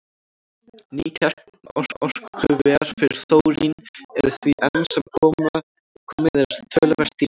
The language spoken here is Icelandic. Ný kjarnorkuver fyrir þórín eru því enn sem komið er töluvert dýrari.